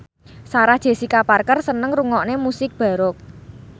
Sarah Jessica Parker seneng ngrungokne musik baroque